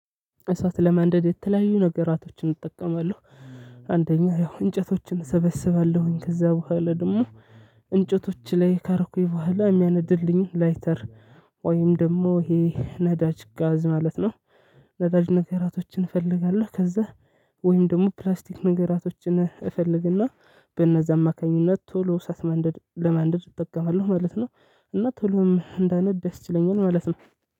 እሳት ለማንደድ የተለያዩ ነገራቶችን እጠቀማለሁ። አንደኛ ያው እንጨቶችን እሰበስባለሁኝ ከዛ በኋላ ደግሞ እንጨቶች ላይ ካረኩኝ በኋላ የሚያነድልኝ ላይተር። ወይም ደግሞ ይሄ ነዳጅ ጋዝ ማለት ነው። ነዳጅ ነገራቶችን እፈልጋለሁ። ከዛ ወይም ደግሞ ፕላስቲክ ነገራቶችን እፈልግና በእነዛ አማካኝነት ቶሎ እሳአት ማንደድ ለመንደድ እጠቀማለሁ። ማለት ነው። እና ቶሎም እንዳነድ ደስ ይለኛል ማለት ነው።